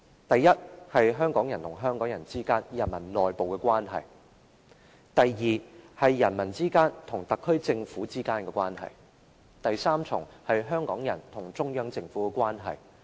第一，是香港人與香港人之間，人民內部的關係；第二，是人民與特區政府之間的關係；第三，是香港人與中央政府之間的關係。